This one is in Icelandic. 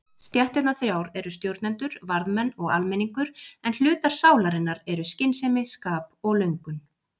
Stéttirnar þrjár eru stjórnendur, varðmenn og almenningur en hlutar sálarinnar eru skynsemi, skap og löngun.